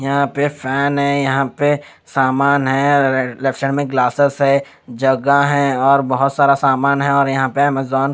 यहाँ पे फैन है यहाँ पे सामान है लेफ्ट हँड ग्लासेस है जगह है और बहुत सारा सामान है और यहाँ पे अमेझॉन --